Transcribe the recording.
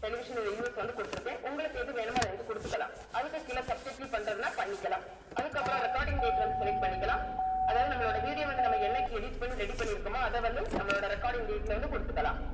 television in US வந்து குடுத்திருக்கேன் உங்களுக்கு எது வேணுமோ அத நீங்க குடுத்துக்கலாம் அதுக்கு கீழ subtitle பண்றதுன்னா பண்ணிக்கலாம் அதுக்கப்புறம் recording date வந்து select பண்ணிக்கலாம் அதாவது நம்மளோட video வந்து நம்ம என்னைக்கு edit பண்ணி ready பண்ணியிருக்குமோ அதை வந்து நம்மளோட recording date ல வந்து குடுத்துக்கலாம்